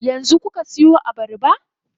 Yanzu kuka siyo abarba?